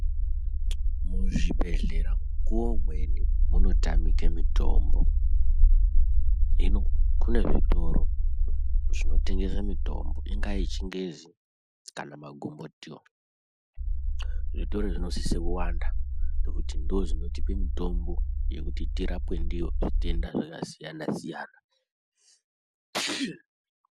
Muzvibhedhlera mukuwo umweni munotamike mitombo hino kune zvitoro zvinotengese mutombo ingava yechingezi kana magombotiyo zvitoro izvi zvinosise kuwanda ngekuti ndozvinotipe mutombo yekuti tirapwe ndiyo matenda zvakasiyana siyana